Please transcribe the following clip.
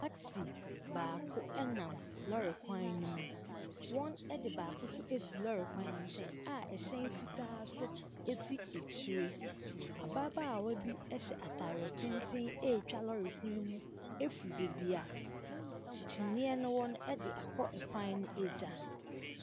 Taxi baako nam lorry kwan no mu. Wɔde baako nso asi lorry kwan no nkyɛn a ɛhyɛn fitaa nso si akyire. Ababaawa bi hyɛ ataare tenten retwa lorry kwan no mu firi baabi a kyinniiɛ no wɔ no de akɔ ɛkwan no agya.